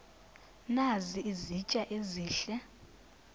nazi izitya ezihle